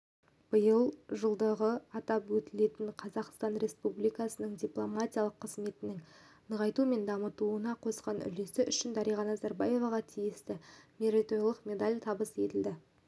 биыл жылдығы атап өтілетін қазақстан республикасы дипломатиялық қызметінің нығайтуы мен дамуына қосқан үлесі үшін дариға назарбаеваға тиісті мерейтойлық медаль табыс етілді